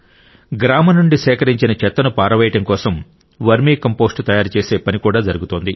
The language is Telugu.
గ్రామం నుండి సేకరించిన చెత్తను పారవేయడం కోసం వర్మీ కంపోస్ట్ తయారు చేసే పని కూడా జరుగుతోంది